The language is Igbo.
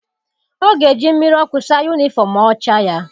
Ọ ga-eji mmiri ọkụ saa yunifọm ọcha ya.